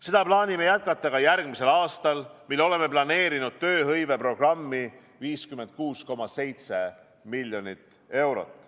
Seda plaanime jätkata ka järgmisel aastal, mil oleme planeerinud tööhõiveprogrammi 56,7 miljonit eurot.